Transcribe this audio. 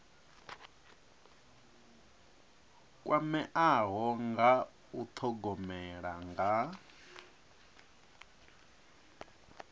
kwameaho nga u thogomela nga